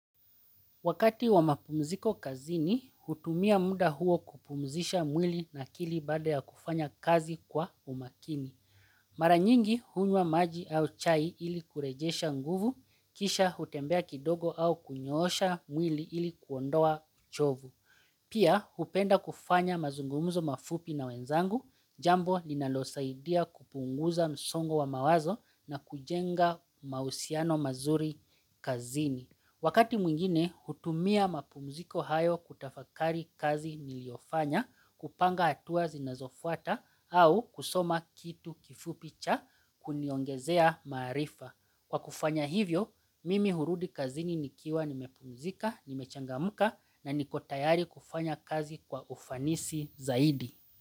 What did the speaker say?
Wakati wa mapumziko kazini, hutumia muda huo kupumzisha mwili na akili baada ya kufanya kazi kwa umakini. Mara nyingi, hunywa maji au chai ili kurejesha nguvu, kisha hutembea kidogo au kunyoosha mwili ili kuondoa uchovu. Pia, hupenda kufanya mazungumuzo mafupi na wenzangu, jambo linalosaidia kupunguza msongo wa mawazo na kujenga mahusiano mazuri kazini. Wakati mwingine, hutumia mapumziko hayo kutafakari kazi niliofanya kupanga hatuwa zinazofuata au kusoma kitu kifupi cha kuniongezea maarifa. Kwa kufanya hivyo, mimi hurudi kazini nikiwa nimepumzika, nimechangamka na niko tayari kufanya kazi kwa ufanisi zaidi.